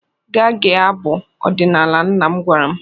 Gaa gee abụ ọdinala," nna m gwara m.